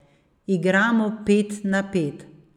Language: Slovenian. Igramo pet na pet.